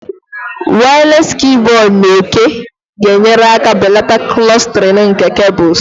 Wireless keyboard na òké ga-enyere aka belata clustering nke cables